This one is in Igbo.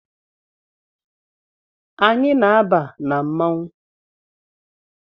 Anyị na-aba na mmanwụ